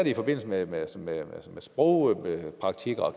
i forbindelse med med sprogpraktik og